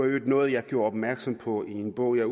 øvrigt noget jeg gjorde opmærksom på i en bog jeg